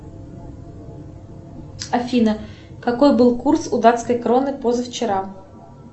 афина какой был курс у датской кроны позавчера